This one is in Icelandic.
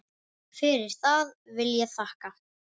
Fyrir það vil ég þakka.